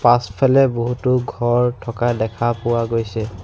পাছফালে বহুতো ঘৰ থকা দেখা পোৱা গৈছে।